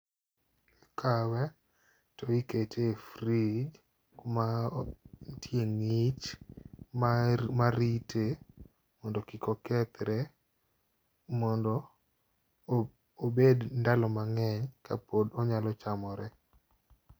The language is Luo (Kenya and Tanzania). Ikawe to ikete e fridge kuma o ntie ng'ich mar marite mondo kik okethre, mondo o obed ndalo mang'eny ka pod onyalo chamore.